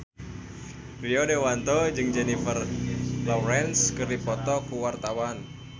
Rio Dewanto jeung Jennifer Lawrence keur dipoto ku wartawan